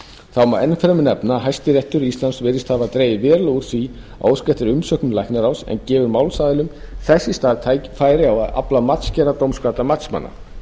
þá má enn fremur nefna að hæstiréttur íslands virðist hafa dregið verulega úr því að óska eftir umsögnum læknaráðs en gefur málsaðilum þess í stað færi á að afla matsgerðar dómkvaddra matsmanna